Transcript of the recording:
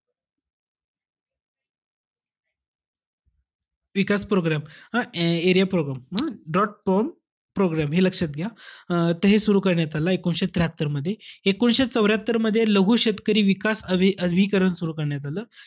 विकास program हं area program. draught prone program हे लक्षात घ्या. अं त हे सुरु करण्यात आलं एकोणीसशे त्र्याहत्तरमध्ये. एकोणीसशे चौर्यात्तरमध्ये लघु शेतकरी विकास अवि~ विकरण सुरु करण्यात आलं.